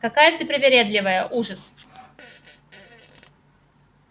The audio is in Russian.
какая ты привередливая ужас